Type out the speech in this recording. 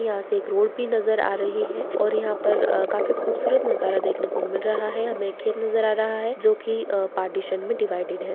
यहाँ से एक रोड भी नजर आ रही है और यहाँ पर काफी खूबसूरत नजारा देखने को मिल रहा है हमें खेत नजर आ रहा है जो की पार्टीशन में डिवाइडेड है।